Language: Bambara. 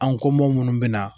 An ko minnu bɛ na